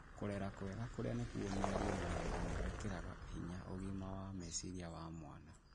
Kũrera kwega, kũrĩa nĩ kuo mĩario na wendo, nĩ gwĩkĩraga hinya ũgima wa meciria wa mwana.